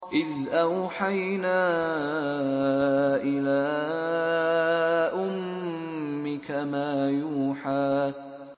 إِذْ أَوْحَيْنَا إِلَىٰ أُمِّكَ مَا يُوحَىٰ